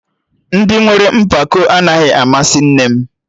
Ndị nwere mpako anaghị amasị nne m